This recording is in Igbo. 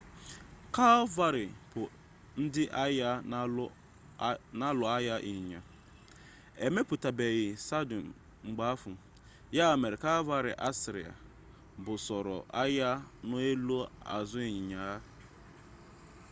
kalvarị bu ndi agha na-alụ agha ịnyịnya emepụtabeghị sadụl mgbe ahụ ya mere kalvarị asịrịa busoro agha n'elu azụ ịnyịnya ha